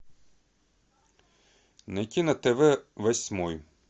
найти на тв восьмой